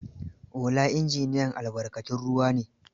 Ola injiniyan albarkatun ruwa ne.